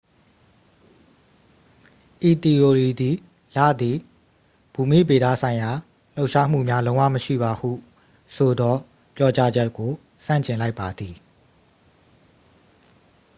ဤသီအိုရီသည် လသည် ဘူမိဗေဒဆိုင်ရာလှုပ်ရှားမှုများလုံးဝမရှိပါဟုဆိုသော ပြောကြားချက်ကို ဆန့်ကျင်လိုက်ပါသည်